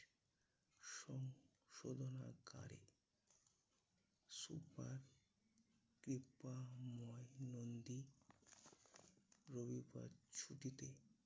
সংশোধনাগারে super রবিবার ছুটিতে